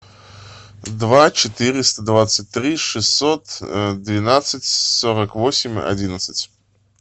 два четыреста двадцать три шестьсот двенадцать сорок восемь одиннадцать